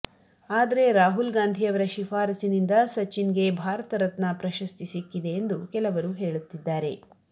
ಆದ್ರೆ ರಾಹುಲ್ ಗಾಂಧಿಯವರ ಶೀಫಾರಸ್ಸಿನಿಂದ ಸಚಿನ್ಗೆ ಭಾರತ ರತ್ನ ಪ್ರಶಸ್ತಿ ಸಿಕ್ಕಿದೆ ಎಂದು ಕೆಲವರು ಹೇಳುತ್ತಿದ್ದಾರೆ